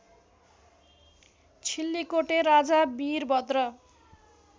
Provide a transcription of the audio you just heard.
छिल्लिकोटे राजा वीरभद्र